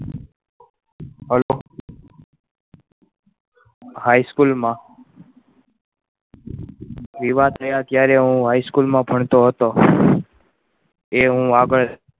HighSchool મા એવા થયા ત્યારે હું High School મા ભણતો હતો એ હું આગળ